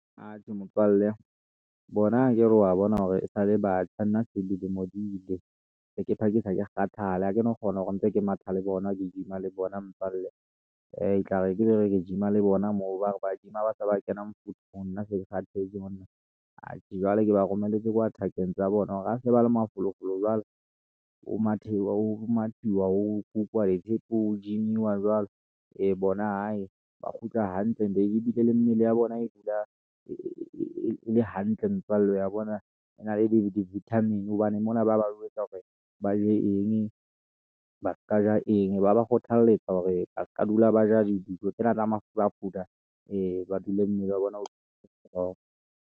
Atjhe, motswalle, bona akere wa bona hore esale batjha, nna dilemo se diile, seke phakisa ke kgathala, ha ke no kgona ntse ke matha le bona, ke gym-a le bona mpalle, etlare ke gym-a le bona moo bare ba gym-a ha se ba kena mofuthung nna se ke kgathetse monna. Atjhe, jwale ke ba romelletse kwa thakeng tsa bona hore ha se ba le mafolofolo jwalo, ho mathuwa ho gym-i wa jwalo. Ee bona hae ba kgutla hantle nje ebile le mmele ya bona e dula e le hantle motswalle ya bona e na le di-vitamin hobane mona ba ba jwetsa hore ba je eng ba ska ja eng, ba ba kgothalletsa hore ba ska dula ba ja dijo tsena tsa mafurafura ba dule mmele wa bona o le strong.